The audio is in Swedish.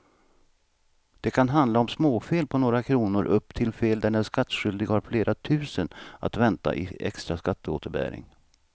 Det kan handla om småfel på några kronor upp till fel där den skattskyldige har flera tusen att vänta i extra skatteåterbäring.